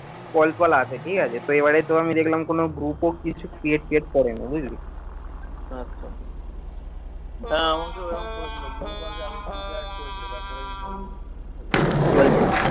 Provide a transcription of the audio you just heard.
call ফল আসে ঠিকাছে, তো এবারে তো আমি দেখলাম কোনও group ও কিছু create তিয়েট করেনি বুঝলি কি বলছিস?